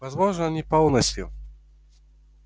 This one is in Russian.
возможно не полностью